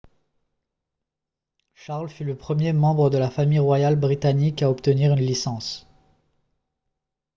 charles fut le premier membre de la famille royale britannique à obtenir une licence